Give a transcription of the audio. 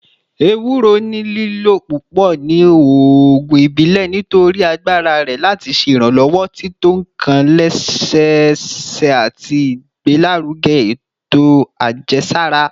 Ewuro ni lilo pupọ ni oogun ibile nitori agbara rẹ lati ṣe iranlọwọ tito nkan lẹsẹsẹ ati igbelaruge eto ajẹsara